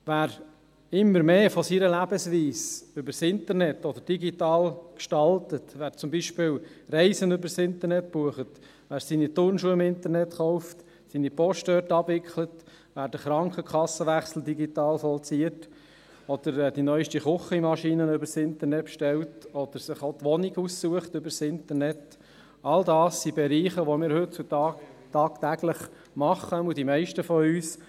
Wer immer mehr von seiner Lebensweise über das Internet oder digital gestaltet, wer zum Beispiel Reisen über Internet bucht, wer seine Turnschuhe via Internet kauft, seine Post dort abwickelt, wer den Krankenkassenwechsel digital vollzieht, die neueste Küchenmaschine über das Internet bestellt oder sich die Wohnung über Internet aussucht – all dies sind Bereiche, die wir heutzutage tagtäglich abwickeln, jedenfalls die meisten von uns.